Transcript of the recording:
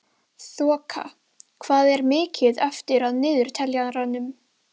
Þoka, hvað er mikið eftir af niðurteljaranum?